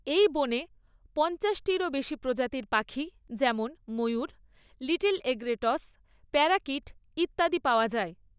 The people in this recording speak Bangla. এই বনে পঞ্চাশটিরও বেশি প্রজাতির পাখি যেমন ময়ূর, লিটল এগ্রেটস, প্যারাকিট ইত্যাদি পাওয়া যায়।